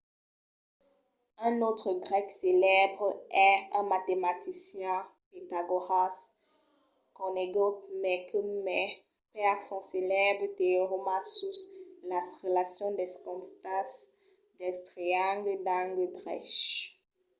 un autre grèc celèbre es un matematician pitagòras conegut mai que mai per son celèbre teorèma sus las relacions dels costats dels triangles d'angle drech